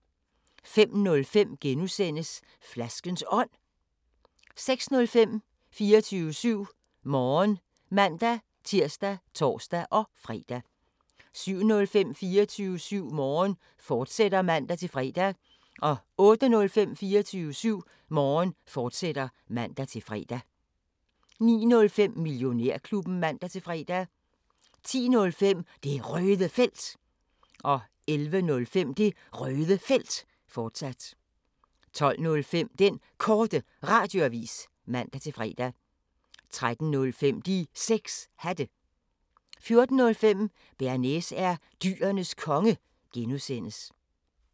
05:05: Flaskens Ånd (G) 06:05: 24syv Morgen (man-tir og tor-fre) 07:05: 24syv Morgen, fortsat (man-fre) 08:05: 24syv Morgen, fortsat (man-fre) 09:05: Millionærklubben (man-fre) 10:05: Det Røde Felt 11:05: Det Røde Felt, fortsat 12:05: Den Korte Radioavis (man-fre) 13:05: De 6 Hatte 14:05: Bearnaise er Dyrenes Konge (G)